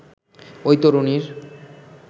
ওই তরুণীর